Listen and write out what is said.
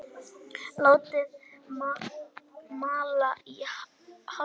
Látið malla í hálftíma.